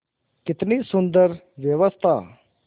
कितनी सुंदर व्यवस्था